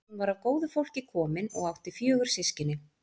Hún var af góðu fólki komin og átti fjögur systkini.